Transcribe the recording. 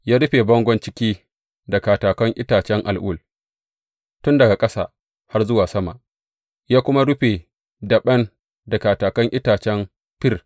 Ya rufe bangon ciki da katakan itacen al’ul tun daga ƙasa har zuwa sama, ya kuma rufe daɓen da katakan itacen fir.